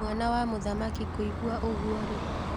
Mwana wa mũthamaki kũigwa ũgwo rĩ